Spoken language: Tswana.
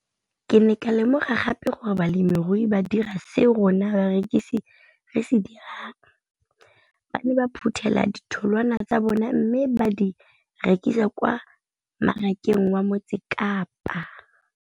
Ke ne ka lemoga gape gore balemirui ba dira seo rona barekisi re se dirang - ba ne ba phuthela ditholwana tsa bona mme ba di rekisa kwa marakeng wa Motsekapa.